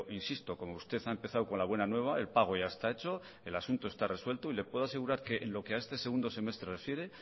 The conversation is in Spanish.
insisto como usted ha empezado con la buena nueva el pago ya está hecho el asunto está resuelto y le puedo asegurar que lo que a este segundo semestre